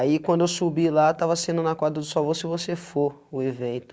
quando eu subi lá, estava sendo na quadra do sol, você for o evento.